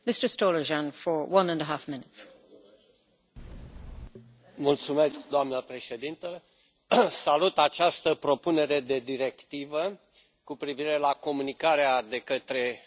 Doamnă președintă, salut această propunere de directivă cu privire la comunicarea de către anumite întreprinderi a informațiilor cu privire la impozitul pe profit.